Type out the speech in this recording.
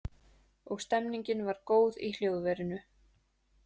Og stemningin var góð í hljóðverinu